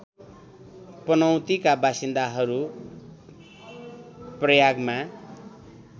पनौतीका बासिन्दाहरू प्रयागमा